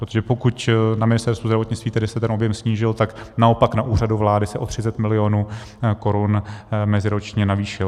Protože pokud na Ministerstvu zdravotnictví tedy se ten objem snížil, tak naopak na Úřadu vlády se o 30 milionů korun meziročně navýšil.